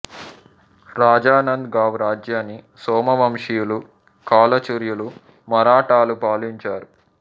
రాజ నంద్ గావ్ రాజ్యాన్ని సోమవంశీయులు కాలచుర్యులు మరాఠాలు పాలించారు